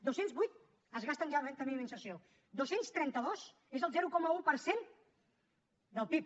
dos cents vuit es gasten ja en renda mínima d’inserció dos cents i trenta dos és el zero coma un per cent del pib